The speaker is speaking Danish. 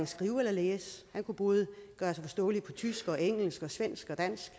skrive eller læse men han kunne både gøre sig forståelig på tysk engelsk svensk og dansk